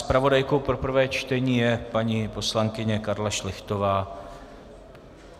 Zpravodajkou pro prvé čtení je paní poslankyně Karla Šlechtová.